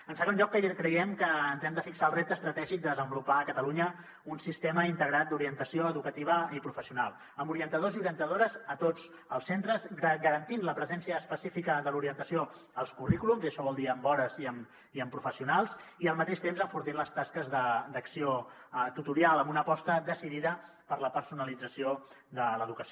en segon lloc creiem que ens hem de fixar el repte estratègic de desenvolupar a catalunya un sistema integrat d’orientació educativa i professional amb orientadors i orientadores a tots els centres que garanteixi la presència específica de l’orientació als currículums i això vol dir amb hores i amb professionals i al mateix temps que enforteixi les tasques d’acció tutorial amb una aposta decidida per la personalització de l’educació